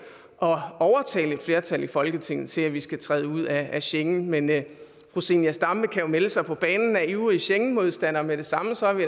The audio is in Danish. at overtale et flertal i folketinget til at vi skal træde ud af schengen men fru zenia stampe kan jo melde sig på banen af ivrige schengenmodstandere med det samme så er vi